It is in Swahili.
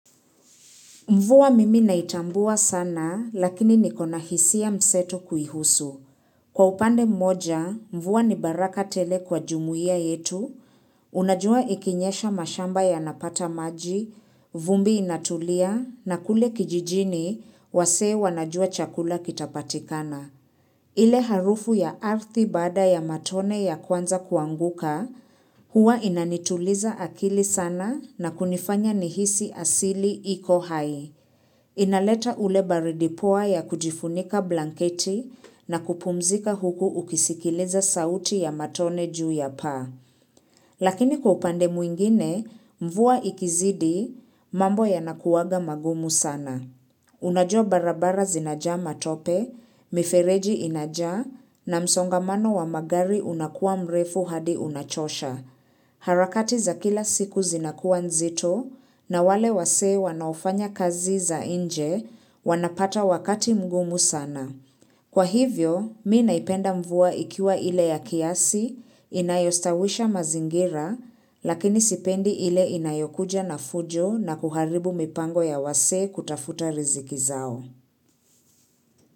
Mvua mimi naitambua sana, lakini niko na hisia msetu kuhusu. Kwa upande mmoja, mvua ni baraka tele kwa jumuiya yetu, unajua ikinyesha mashamba yanapata maji, vumbi inatulia, na kule kijijini, wasea wanajua chakula kitapatikana. Ile harufu ya ardhi baada ya matone ya kwanza kuanguka, huwa inanituliza akili sana na kunifanya nihisi asili iko hai. Inaleta ule baridi poa ya kujifunika blanketi na kupumzika huku ukisikiliza sauti ya matone juu ya paa. Lakini kwa upande mwingine, mvua ikizidi, mambo yanakuwaga magumu sana. Unajua barabara zinajaa matope, mifereji inajaa na msongamano wa magari unakuwa mrefu hadi unachosha. Harakati za kila siku zinakuwa nzito na wale wasee wanaofanya kazi za nje wanapata wakati mgumu sana. Kwa hivyo, mimi naipenda mvua ikiwa ile ya kiasi, inayostawisha mazingira, lakini sipendi ile inayokuja na fujo na kuharibu mipango ya wasee kutafuta riziki zao.